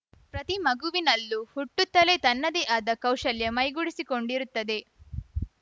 ಪ್ರತಿ ಮಗುವಿನಲ್ಲೂ ಹುಟ್ಟುತ್ತಲೇ ತನ್ನದೇ ಆದ ಕೌಶಲ್ಯ ಮೈಗೂಡಿಸಿಕೊಂಡಿರುತ್ತದೆ